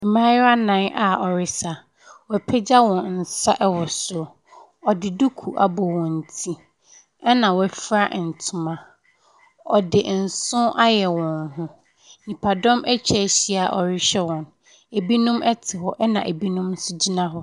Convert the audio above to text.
Mmaayaa nnan a wɔresa. Wɔapagya wɔn nsa wɔ soro. Wɔde duku abɔ wɔn ti ɛna wɔafura ntoma . Wɔde nso ayɛ wɔn ho. Nnipadɔm atwa ahyia a wɔrehwɛ wɔn. Ebinom te hɔ ɛna ebinom gyina hɔ.